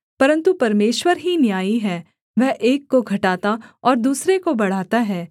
परन्तु परमेश्वर ही न्यायी है वह एक को घटाता और दूसरे को बढ़ाता है